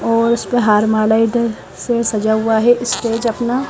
और इसपे हार से सजा हुआ है स्टेज अपना--